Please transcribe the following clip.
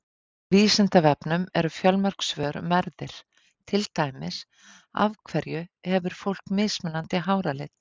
Á Vísindavefnum eru fjölmörg svör um erfðir, til dæmis: Af hverju hefur fólk mismunandi háralit?